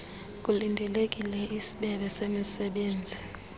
kulindelekile isbebe lemisebenzi